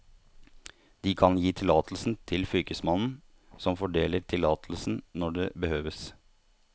De kan gi tillatelse til fylkesmannen, som fordeler tillatelsen når det behøves.